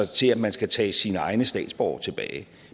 til at man skal tage sine egne statsborgere tilbage